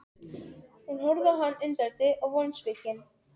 Hún horfði á hann undrandi og vonsvikin.